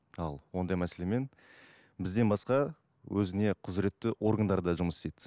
ал ондай мәселемен бізден басқа өзіне құзіретті органдар да жұмыс істейді